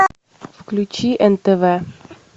включи нтв